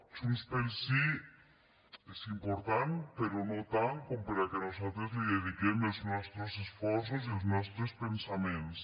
junts pel sí és important però no tant perquè nosaltres li dediquem els nostres esforços i els nostres pensaments